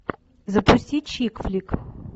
запусти чикфлик